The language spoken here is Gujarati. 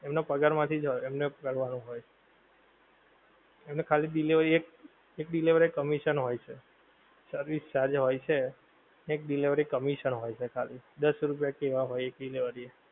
એમનો પગાર માંથીજ હોએ એમને પગાર વાળો હોએ એમને ખાલી delivery એક એક delivery એ commission હોય છે service charge હોએ છે એક delivery commission હોએ છે ખાલી દસ રૂપિયા કેવા હોએ delivery